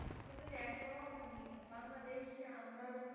আমারা যে